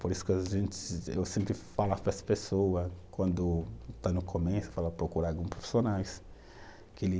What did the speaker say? Por isso que, eu sempre falo para as pessoas, quando estão no começo, procurar algum profissionais, que ele